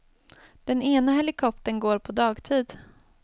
Den ena helikoptern går på dagtid.